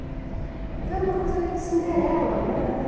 Então era uma coisa meio de Cinderela, né?